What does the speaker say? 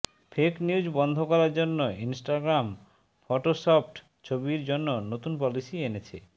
fake news বন্ধ করার জন্য ইন্সটাগ্রাম ফটোশপড ছবির জন্য নতুন পলিসি এনেছে